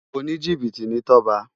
Ónijibiti ni Toba